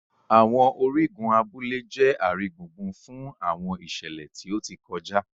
àwọn origun abule jẹ aringbungbun fun àwọn iṣẹlẹ ti o ti kọja.